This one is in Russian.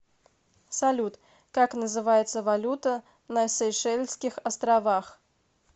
салют как называется валюта на сейшельских островах